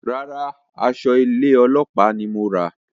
Rárá, aṣọ ilé ọlópàá ní mo rà